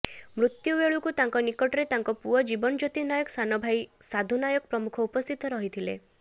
ମୃତ୍ୟ ବେଳକୁ ତାଙ୍କ ନିକଟରେ ତାଙ୍କ ପୁଅ ଜୀବନଜ୍ୟୋତି ନାୟକ ସାନଭାଇ ସାଧୁନାୟକ ପ୍ରମୁଖ ଉପସ୍ଥିତ ରହିଥିଲେ